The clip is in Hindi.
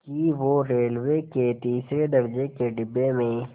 कि वो रेलवे के तीसरे दर्ज़े के डिब्बे में